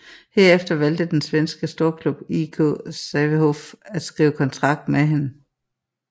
Herefter valgte den svenske storklub IK Sävehof at skrive kontrakt med hende